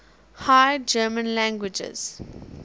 high german languages